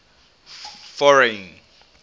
foreign